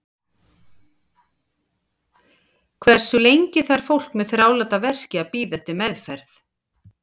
Hversu lengi þarf fólk með þráláta verki að bíða eftir meðferð?